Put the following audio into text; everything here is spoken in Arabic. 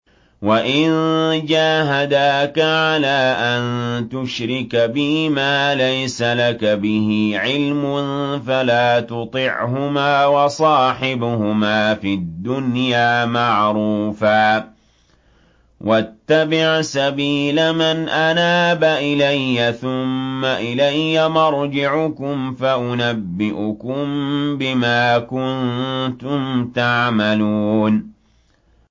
وَإِن جَاهَدَاكَ عَلَىٰ أَن تُشْرِكَ بِي مَا لَيْسَ لَكَ بِهِ عِلْمٌ فَلَا تُطِعْهُمَا ۖ وَصَاحِبْهُمَا فِي الدُّنْيَا مَعْرُوفًا ۖ وَاتَّبِعْ سَبِيلَ مَنْ أَنَابَ إِلَيَّ ۚ ثُمَّ إِلَيَّ مَرْجِعُكُمْ فَأُنَبِّئُكُم بِمَا كُنتُمْ تَعْمَلُونَ